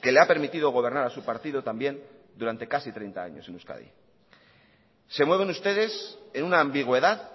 que le ha permitido gobernar a su partido también durante casi treinta años en euskadi se mueven ustedes en una ambigüedad